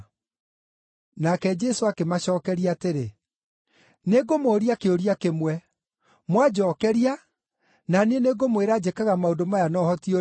Nake Jesũ akĩmacookeria atĩrĩ, “Nĩngũmũũria kĩũria kĩmwe. Mwanjookeria, na niĩ nĩngũmwĩra njĩkaga maũndũ maya na ũhoti ũrĩkũ.